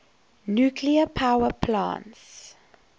nuclear power plants